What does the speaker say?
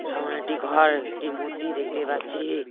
সামোনে একটি ঘর একটি মুত্তি দেখতে পাচ্ছি।